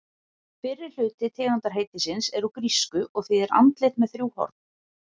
Fyrri hluti tegundarheitisins er úr grísku og þýðir andlit með þrjú horn.